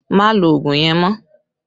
Má lo ogun yẹn mọ́!